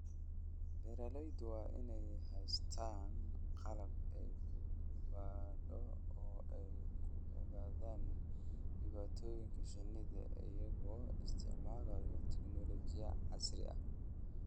Beeralaydu waa inay haystaan ??qalab ay ku baadho oo ay ku ogaadaan dhibaatooyinka shinnida iyagoo isticmaalaya tignoolajiyada casriga ah.